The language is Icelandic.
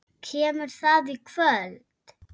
Kemur það í kvöld?